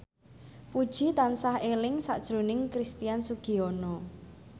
Puji tansah eling sakjroning Christian Sugiono